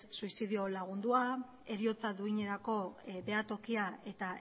suizidio lagundua heriotza duinerako behatokia eta